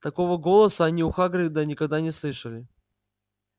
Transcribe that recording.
такого голоса они у хагрида никогда не слышали